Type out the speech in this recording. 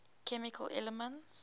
chemical elements